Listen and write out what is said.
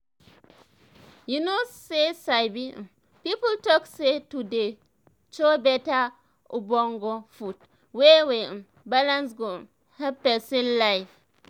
you know say sabi um people talk say to dey chow beta ogbonge food wey dey um balance go um help pesin life